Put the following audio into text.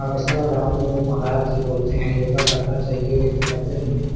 हमेशा रामदेव महाराज जी बोलते है योगा करना चाहिए लेकिन करते नहीं है।